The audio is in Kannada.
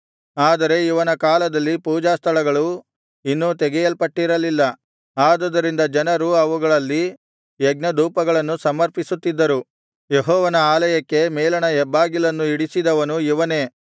ಆದರೆ ಇವನ ಕಾಲದಲ್ಲಿ ಪೂಜಾಸ್ಥಳಗಳು ಇನ್ನೂ ತೆಗೆಯಲ್ಪಟ್ಟಿರಲಿಲ್ಲ ಆದುದರಿಂದ ಜನರು ಅವುಗಳಲ್ಲಿ ಯಜ್ಞಧೂಪಗಳನ್ನು ಸಮರ್ಪಿಸುತ್ತಿದ್ದರು ಯೆಹೋವನ ಆಲಯಕ್ಕೆ ಮೇಲಣ ಹೆಬ್ಬಾಗಿಲನ್ನು ಇಡಿಸಿದವನು ಇವನೇ